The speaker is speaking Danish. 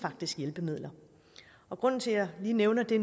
hjælpemidler grunden til at jeg lige nævner det